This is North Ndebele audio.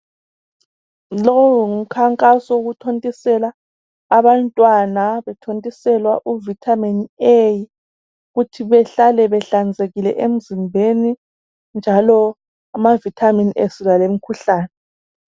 Lowu ngumkhankaso wokuthontisela abantwana bethontiselwa uvitamin A ukuthi behlale behlanzekile emzimbeni njalo ama vitamin esilwa lemikhuhlane.